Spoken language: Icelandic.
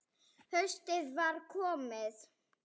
Haustið var komið.